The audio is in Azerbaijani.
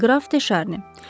Qraf Teşarni.